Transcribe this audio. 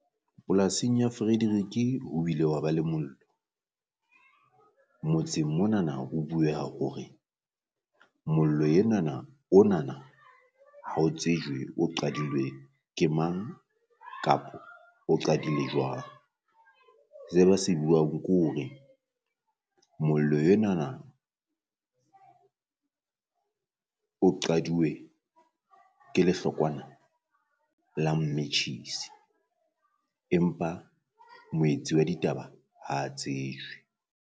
Polasing ya Frederick-e ho bile hwa ba le mollo, motseng monana ho bueha hore mollo enana onana ha o tsejwe o qadilwe ke mang, kapo o qadile jwang. Se ba se buang ke hore mollo yonana o qadilwe ke lehlokwana la matches, empa moetsi wa ditaba ha a tsejwe.